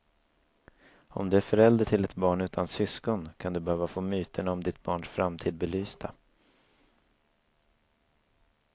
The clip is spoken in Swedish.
Om du är förälder till ett barn utan syskon kan du behöva få myterna om ditt barns framtid belysta.